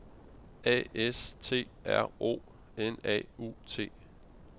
A S T R O N A U T